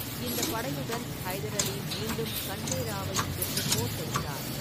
இந்தப் படையுடன் ஹைதர் அலி மீண்டும் கண்டே ராவை எதிர்த்துப் போர் தொடுத்தார்.